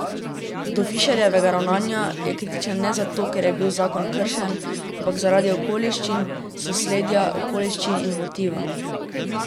Do Fišerjevega ravnanja je kritičen ne zato, ker je bil zakon kršen, ampak zaradi okoliščin, sosledja okoliščin in motiva.